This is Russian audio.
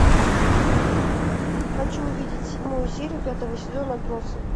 хочу увидеть седьмую серию пятого сезона отбросы